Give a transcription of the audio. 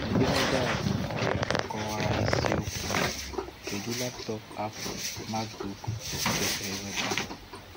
Edemede a bụ nke akọwara isi okwu"Kedu laptọọpụ Apple MacBook m kwesịrị ịzụta?"